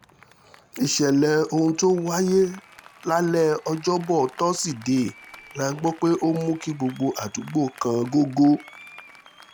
ìṣẹ̀lẹ̀ ohun tó wáyé lálẹ́ ọjọ́bọ̀ tosidee la gbọ́ pé ó mú kí gbogbo àdúgbò kan gogò